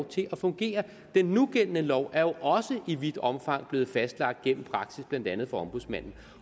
til at fungere den nugældende lov er jo også i vidt omgang blevet fastlagt gennem praksis blandt andet fra ombudsmanden